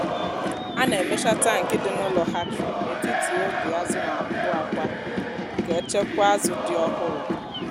a na-emecha tankị dị n’ụlọ hatchery n’etiti oge azụ na-apụ akwa ka echekwa azụ dị ọhụrụ.